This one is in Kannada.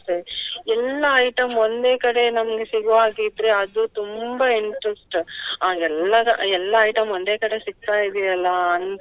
ಎಲ್ಲಾ item ಒಂದೇ ಕಡೆ ನಮ್ಗೆ ಸಿಗುವ ಹಾಗೆ ಇದ್ರೆ ಅದು ತುಂಬಾ interest . ಹಾಗೆಲ್ಲಾ ಎಲ್ಲಸ ಎಲ್ಲಾ item ಒಂದೇ ಕಡೆ ಸಿಗ್ತಾ ಇದೆಯಲ್ಲ ಅಂತ ಹೇಳಿ.